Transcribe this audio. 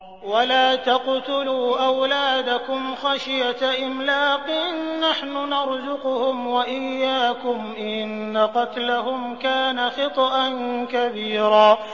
وَلَا تَقْتُلُوا أَوْلَادَكُمْ خَشْيَةَ إِمْلَاقٍ ۖ نَّحْنُ نَرْزُقُهُمْ وَإِيَّاكُمْ ۚ إِنَّ قَتْلَهُمْ كَانَ خِطْئًا كَبِيرًا